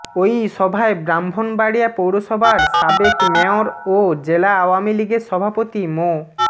ওই সভায় ব্রাহ্মণবাড়িয়া পৌরসভার সাবেক মেয়র ও জেলা আওয়ামী লীগের সভাপতি মো